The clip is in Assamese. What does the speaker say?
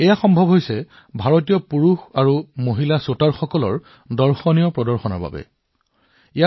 এয়া কেৱল ভাৰতৰ মহিলা আৰু পুৰুষ শ্বুটাৰৰ আকৰ্ষণীয় প্ৰদৰ্শনৰ বাবেহে সম্ভৱ হৈছে